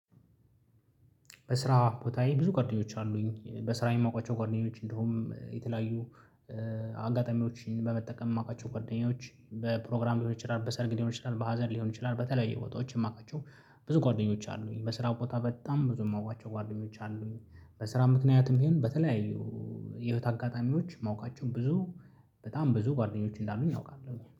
በስራ ቦታዬ ብዙ ጓደኞች አሉኝ በስራዬ የማውቃቸው ጓደኞች እንዲሁም የተለያዩ አጋጣሚዎች በመጠቀም የማውቃቸው ጓደኛዎች በፕሮግራም ሊሆን ይችላል በሰርግ ሊሆን ይችላል በሀዘን ሊሆን ይችላል በተለያዩ ቦታዎች የማውቃቸው ብዙ ጓደኞች አሉኝ። በስራ ቦታ በጣም ብዙ የማውቃቸው ጓደኞች አሉኝ። በስራ ምክንያትም ቢሄን በተለያዩ የህይወት አጋጣሚዎች የማውቃቸውን ብዙ በጣም ብዙ ጓደኞች እንዳሉኝ አውቃለሁኝ